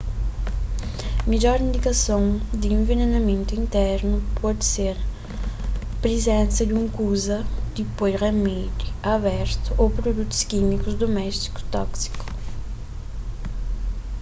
midjor indikason di envenenamentu internu pode ser prizensa di un kuza di poi ramédi abertu ô produtus kímikus duméstiku tóksiku